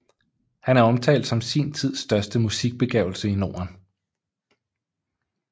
Han er omtalt som sin tids største musikbegavelse i Norden